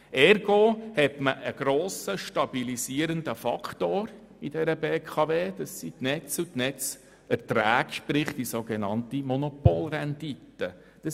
Ergo hat man mit den Netzen und den Netzerträgen, der sogenannten Monopolrendite, einen grossen stabilisierenden Faktor in der BKW.